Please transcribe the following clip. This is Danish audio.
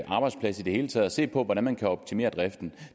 arbejdsplads i det hele taget og se på hvordan man kan optimere driften